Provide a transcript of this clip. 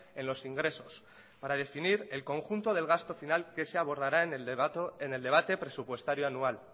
en los ingresos para definir el conjunto del gasto final que se abordará en el debate presupuestario anual